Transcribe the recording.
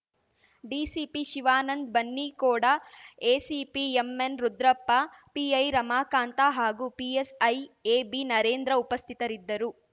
DCP Shivanand ಬನ್ನಿಕೋಡಎಸಿಪಿಎಮ್ಎನ್ ರುದ್ರಪ್ಪಪಿಐ ರಮಾಕಾಂತ ಹಾಗೂ ಪಿಎಸ್‍ಐ ಎಬಿ ನರೇಂದ್ರ ಉಪಸ್ಥಿತರಿದ್ದರು